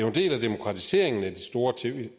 en del af demokratiseringen af de store